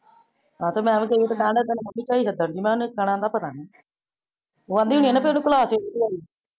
ਆ ਤਾ ਮੈ ਏਵੈ ਕਈ ਗਈ ਪੰਜਾ ਹਜਾਰ ਰੁਪਇਆ ਲਗਇਆ ਸੀ ਕਈ ਗਦਰ ਜੀ ਮੈ ਓਨੇ ਤਾਨਾ ਦਾ ਪਤਾ ਨੀ ਓਹ ਆਂਦੀ ਹੁੰਦੀ ਆ ਕੇ ਓਨੇ ਪੁਲਾ ਤੇ